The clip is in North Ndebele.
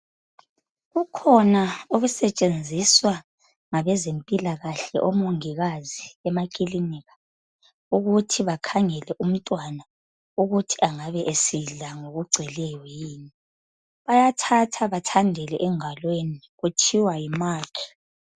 Kukhona okusetshenziswa ngabezimpila kahle omongikazi emakilinika ukuthi bakhangele umntwana ukuthi angabe esidla ngokugcweleyo yini bayathatha bethandele engalweni kuthiwa yimakhi.